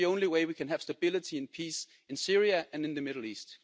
That's the only way we can have stability and peace in Syria and in the Middle East.